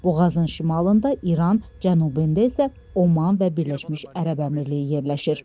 Boğazın şimalında İran, cənubunda isə Oman və Birləşmiş Ərəb Əmirliyi yerləşir.